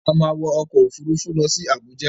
A má wọ ọkọ̀ Òfurufú lọ sí Àbújá.